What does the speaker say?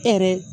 E yɛrɛ